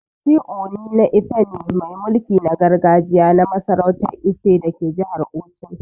Shi Ooni na Ife ne mai mulki na gargajiya na masarautan Ife dake jihar Osun.